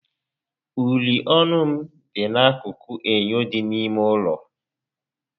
Uri ọnụ m dị n'akụkụ enyo dị n'ime ụlọ